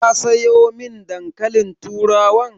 Ka sayo min dankalin turawan?